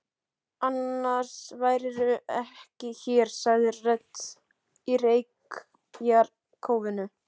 Annars værirðu ekki hér, sagði rödd í reykjarkófinu.